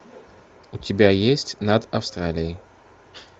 у тебя есть над австралией